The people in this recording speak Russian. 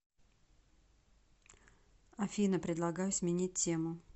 афина предлагаю сменить тему